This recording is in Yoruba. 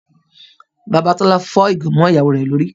Bàbá Tọ́lá fọ́ ìgò mọ́ ìyàwó rẹ̀ lórí.